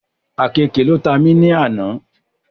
Àkeekè ló ta mí nù àná